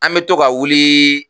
An bɛ to ka wuliii.